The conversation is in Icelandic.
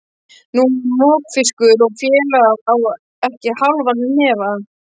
Nú er mokfiskur og félagið á ekki hálfan hnefa.